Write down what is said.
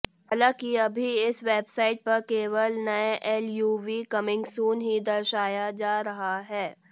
हालांकि अभी इस वेबसाईट पर केवल नये एलयूवी कमींग सून ही दर्शाया जा रहा है